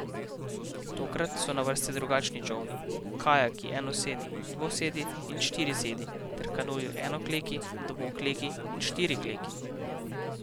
Tokrat so na vrsti drugačni čolni, kajaki enosedi, dvosedi in štirisedi ter kanuji enokleki, dvokleki in štirikleki.